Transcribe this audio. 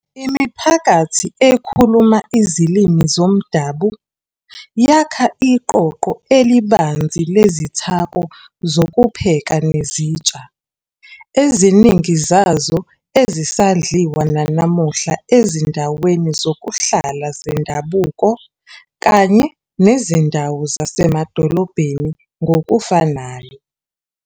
Imiphakathi ekhuluma izilimi zomdabu yakha iqoqo elibanzi lezithako zokupheka nezitsha, eziningi zazo ezisadliwa nanamuhla ezindaweni zokuhlala zendabuko kanye nezindawo zasemadolobheni ngokufanayo.